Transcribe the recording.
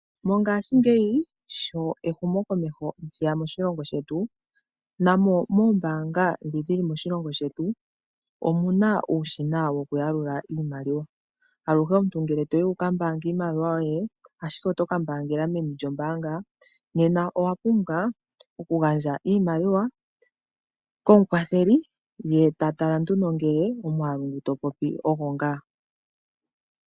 Mongaashingeyi sho ehumokomeho lyeya moshilongo shetu, na mo moombanga dhi dhi li moshilongo shetu, omu na uushina wokuyalula iimaliwa. Aluhe omuntu ngele toyi wuka mbaange iinaliwa yoye, ashike oto ka mbaanga meni lyombaanga, nena owapumbwa okugandja iimaliwa komukwatheli ndele eta tala ngele omwaalu ngu to popi ogo ngaa.